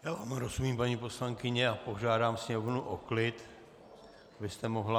Já vám rozumím, paní poslankyně, a požádám Sněmovnu o klid, abyste mohla -